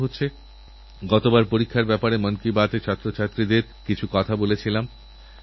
স্বাধীনতার এই উৎসব কোনও সরকারি অনুষ্ঠান নয় দীপাবলির মত এটিও দেশবাসীরনিজস্ব উৎসব হওয়া উচিত